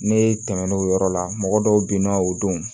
Ne tɛmɛn'o yɔrɔ la mɔgɔ dɔw bɛ yen nɔ o don